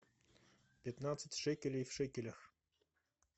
пятнадцать шекелей в шекелях